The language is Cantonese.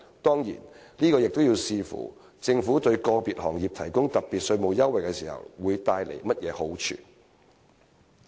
當然，這要視乎我們對個別行業提供特別稅務優惠時，會帶來甚麼好處。